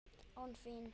Án þín!